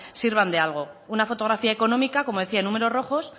sirvan de algo una fotografía económica como decía en números rojos